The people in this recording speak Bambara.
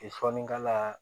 sɔni k'a la